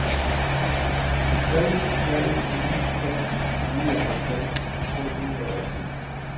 tre tre ni fem nioghalvfems to hundrede og ti